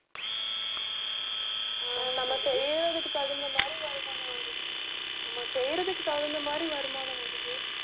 ஆஹ் நம்ம செய்யறதுக்கு தகுந்த மாதிரி வருமானம் வருது நம்ம செய்யறதுக்கு தகுந்த மாதிரி வருமானம் வருது